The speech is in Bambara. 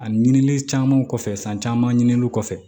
Ani ɲinili camanw kɔfɛ san caman ɲininiw kɔfɛ